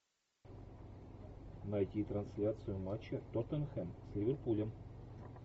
найти трансляцию матча тоттенхэм с ливерпулем